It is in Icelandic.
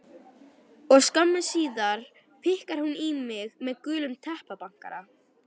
Og skömmu síðar pikkar hún í mig með gulum teppabankara.